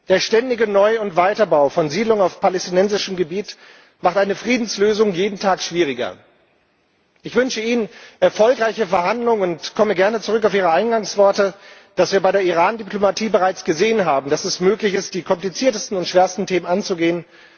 Der ständige Neu und Weiterbau von Siedlungen auf palästinensischem Gebiet macht eine Friedenslösung jeden Tag schwieriger. Ich wünsche Ihnen erfolgreiche Verhandlungen und komme gerne zurück auf Ihre Eingangsworte, dass wir bei der Irandiplomatie bereits gesehen haben, dass es möglich ist, die kompliziertesten und schwersten Themen anzugehen.